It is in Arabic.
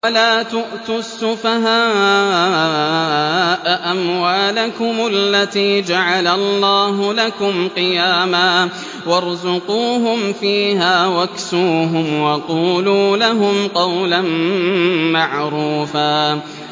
وَلَا تُؤْتُوا السُّفَهَاءَ أَمْوَالَكُمُ الَّتِي جَعَلَ اللَّهُ لَكُمْ قِيَامًا وَارْزُقُوهُمْ فِيهَا وَاكْسُوهُمْ وَقُولُوا لَهُمْ قَوْلًا مَّعْرُوفًا